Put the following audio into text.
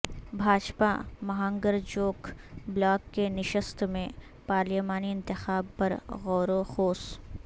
بھاجپا مہانگرچوک بلاک کی نشست میں پارلیمانی انتخاب پرغوروخوض